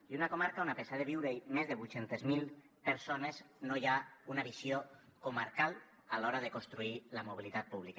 i una comarca on a pesar de viure hi més de vuit cents miler persones no hi ha una visió comarcal a l’hora de construir la mobilitat pública